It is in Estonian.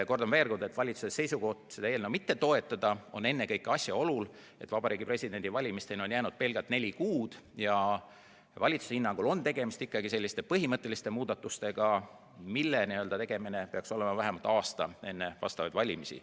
Kordan veel: valitsuse seisukoht seda eelnõu mitte toetada lähtub ennekõike asjaolust, et Vabariigi Presidendi valimisteni on jäänud pelgalt neli kuud, ja valitsuse hinnangul on tegemist ikkagi selliste põhimõtteliste muudatustega, mis tuleks teha vähemalt aasta enne valimisi.